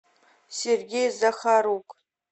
сергей захарук